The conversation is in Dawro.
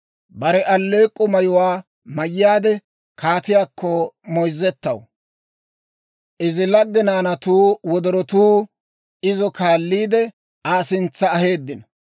Bare alleek'k'o mayuwaa mayyaade, kaatiyaakko moyzzetaw; Izi lagge naanatuu wodorotuu, izo kaalliide, Aa sintsa aheeddino.